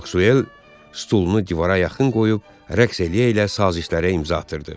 Maksuel stolunu divara yaxın qoyub rəqs eləyə-elə sazişlərə imza atırdı.